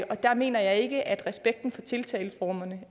og der mener jeg ikke at respekten for tiltaleformerne